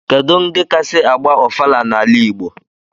Kedu ndi kasi agba ofala n'ala igbo?